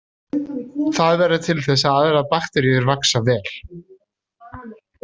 Það verður til þess að aðrar bakteríur vaxa vel.